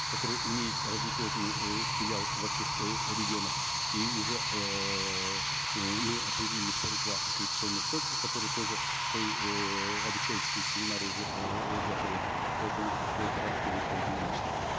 который имеет разветвленный э филиал во всех э регионах и уже эээ мы определили сорок два аккредитационных центра которые тоже свои эээ обучающие семинары уже эээ готовят поэтому эта работа будет проведена масштабно